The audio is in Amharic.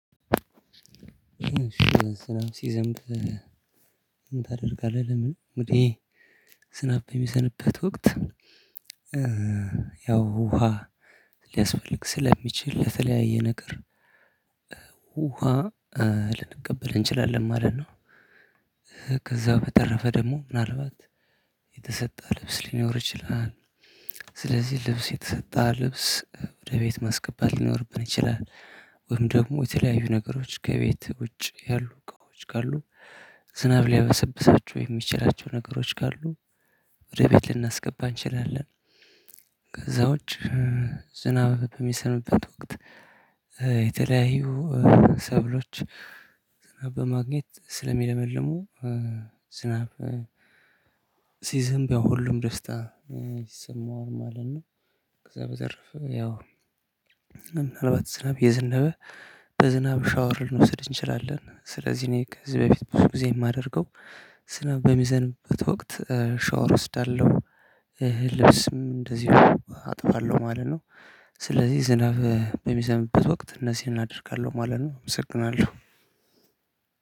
ሲዘንብ ምን ታደርጋለህ? ለምን እንግዲህ ዝናብ በሚዘንብበት ወቅት ያው ውሃ ሊያስፈልግ ስለሚችል ለተለያየ ነገር ውሃ ልንቀበል ኤችላለን ማለት ነው። ከዛ በተረፈ ደግሞ ምን አልባት የተሰጣ ልብስ ሊኖር ይቺላል። ስለዚህ ልብስ የተሰጣ ልብስ ወደ ቤት ማስገባት ሊኖርብን ይችላል። ወይም ደግሞ የተለያዩ ነገሮች ከቤት ውጭ ያሉ እቃዎች ካሉ ዝናብ ሊያበሰብሳቸው የሚችላቸው ነገሮች ካሉ ወደ ቤት ልናስገባ እንችላለን። ከዛ ውጪ ዝናብ በምዘንብበት ወቅት የተለያዩ ሰብሎች ዝናብ በማግኘት ስለሚለመልሙ ዝናብ ሲዘንብ ሁሉም ደስታ ይሰማዋል ማለት ነው። ከዛ በተረፈ ያው ምናልባት ዝናብ እየዝናብ በዝናብ ሻወር ልንወስድ አቺላለን። ስለዚህ እኔ ከዚህ በፊት ብዙ ጊዜ የማደርገው ዝናብ በምዘንብበት ወቅት ሻወር አወስዳለው። ልብስም አደዚሁ አትባለው ማለት ነው። ስለዚህ ዝናብ በምዘንብበት ወቅት አነዚህን አደርጋለው ማለት ነው አመሰግናለሁ።